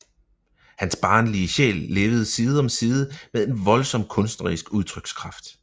Hans barnlige sjæl levede side om side med en voldsom kunstnerisk udtrykskraft